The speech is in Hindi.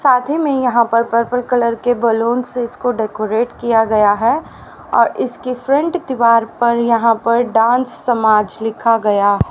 शादी में यहां पर पर्पल कलर के बैलून से उसको डेकोरेट किया गया है और इसके फ्रंट दीवार पर यहां पर डांस समाज लिखा गया--